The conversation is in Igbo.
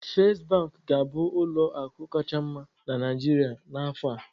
Fest bank ga-abụ ụlọ akụ kacha mma na Naịjirịa n'afọ a